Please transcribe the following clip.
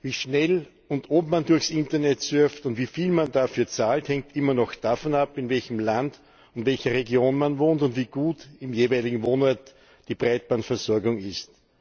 Wie schnell und ob man durchs Internet surft und wie viel man dafür zahlt, hängt immer noch davon ab, in welchem Land, in welcher Region man wohnt und wie gut im jeweiligen Wohnort die Breitbandversorgung ist.